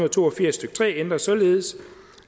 og to og firs stykke tre ændres således